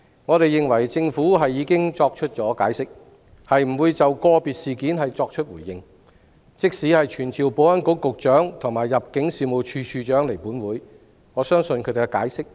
我們認為，政府已經作出解釋，不會就個別事件作出回應。即使傳召保安局局長及入境事務處處長到立法會，他們亦會作出相同的解釋。